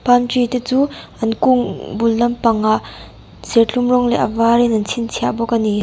palm tree te chu an kung bul lampangah serthlum rawng leh a varin an chhinchhiah bawk a ni.